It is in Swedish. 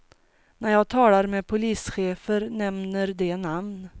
När jag talar med polischefer nämner de namn.